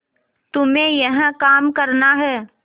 तुम्हें यह काम करना है